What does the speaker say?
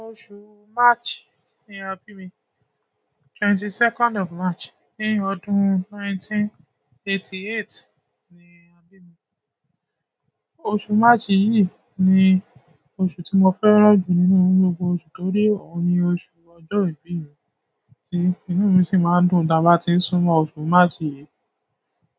Oṣù March ni a bí mi, twenty second of March ní ọdún nineteen eighty eight ni a bí mi. Oṣù March yìí ni oṣù tí mo fẹ́ràn jù nínú gbogbo oṣù torí ó ni oṣù ọjọ́ ìbí mi tí inú mi sì máa ń dùn tí a bá ti ń súnmọ́ oṣù March yìí.